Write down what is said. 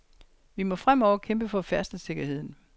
Vi må fremover kæmpe for færdselssikkerheden.